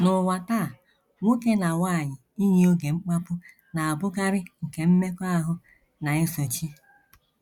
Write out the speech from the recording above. N’ụwa taa, nwoke na nwanyị iyi oge mkpapu na - abụkarị nke mmekọahụ na - esochi.